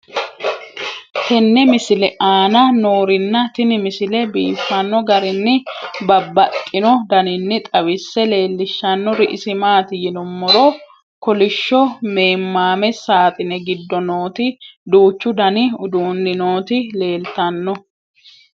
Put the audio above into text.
tenne misile aana noorina tini misile biiffanno garinni babaxxinno daniinni xawisse leelishanori isi maati yinummoro kolishsho meemmame saaxine giddo nootti duuchu danni uudunni nootti leelittanno